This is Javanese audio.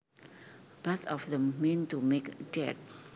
Both of them mean to make dead